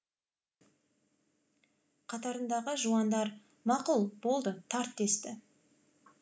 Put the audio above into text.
қатарындағы жуандар мақұл болды тарт десті